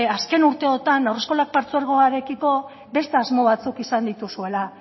azken urteotan haurreskolak partzuegoarekiko beste asmo batzuk izan dituzuela